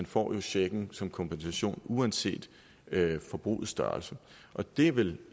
får checken som kompensation uanset forbrugets størrelse det er vel